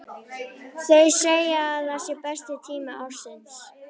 Þau segja að það sé besti tími ársins.